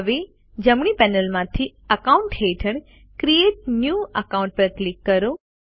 હવે જમણી પેનલમાંથી અકાઉન્ટ્સ હેઠળ ક્રિએટ ન્યૂ અકાઉન્ટ પર ક્લિક કરો